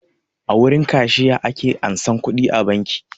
A wurin kashiya ake ansan kuɗi a banki